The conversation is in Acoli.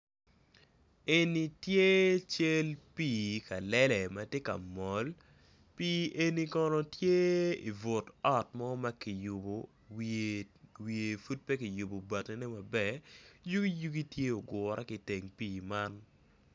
En tye cal pi kalele ma tye ka mol pi eni kono tye ibut ot mo ma kiyubo wiye pud pe kiyubo bati ne maber yugi yugi tye ogure ki teng pi man.